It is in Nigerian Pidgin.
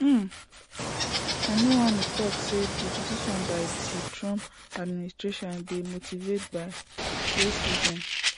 um kinuani tok say di decision by di trump administration dey motivated by racism